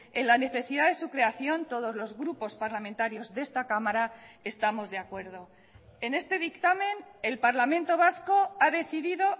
en la necesidad de su creación todos los grupos parlamentarios de esta cámara estamos de acuerdo en este dictamen el parlamento vasco ha decidido